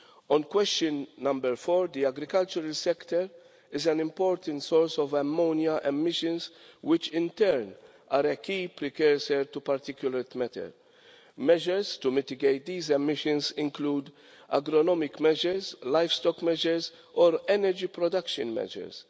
On question number four, the agricultural sector is an important source of ammonia emissions, which in turn are a key precursor to particulate matter. Measures to mitigate these emissions include agronomic measures, livestock measures, or energy production measures.